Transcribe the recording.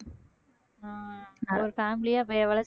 ஆஹ் family ஆ அப்ப எவ்வ~